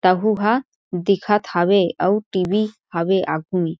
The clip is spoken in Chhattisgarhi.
तहू हा दिखत हवे और टी.वी. हवे आघु मे--